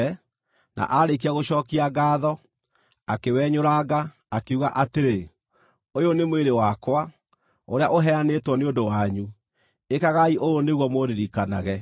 na aarĩkia gũcookia ngaatho, akĩwenyũranga, akiuga atĩrĩ, “Ũyũ nĩ mwĩrĩ wakwa, ũrĩa ũheanĩtwo nĩ ũndũ wanyu; ĩkagai ũũ nĩguo mũndirikanage.”